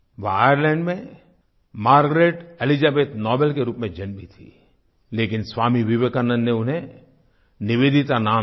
वो आयरलैंड में Margaret Elizabeth Noble Margaret Elizabeth Noble के रूप में जन्मी थीं लेकिन स्वामी विवेकानंद ने उन्हें निवेदिता नाम दिया